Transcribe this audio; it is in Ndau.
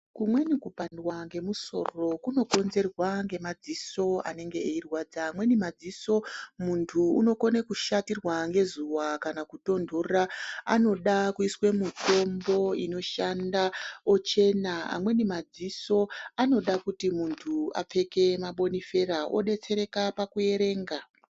Kumweni kupandiwa ngemusoro kunokonzerwa ngemadziso anenge eirwadza amweni madziso muntu unokone kushatirwa ngezuwa akana kutontora anode kuiswe mutombo inoshanda ochena amweni madziso anoda kuti muntu apfeke mabonifeka odetsereka pakuerenga.